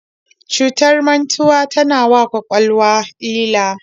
Cutar mantuwa tana wa kwakwalwa illa.